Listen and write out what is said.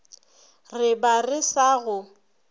re ba re sa go